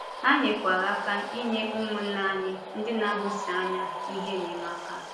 Ha nyerekwa aka inye ụmụ̀nnà anyị ndị na-ahụ́si ànyà ihe enyemaka.